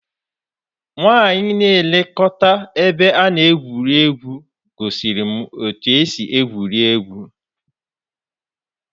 Nwanyị na-elekọta ebe a na-egwu egwuregwu gosiri m otú e si egwuri egwu.